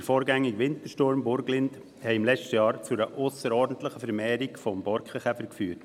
der vorausgegangenen Wintersturm Burglind führten im letzten Jahr zu einer ausserordentlichen Vermehrung des Borkenkäfers.